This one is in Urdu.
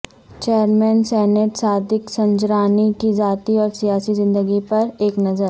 چیئرمین سینیٹ صادق سنجرانی کی ذاتی اور سیاسی زندگی پر ایک نظر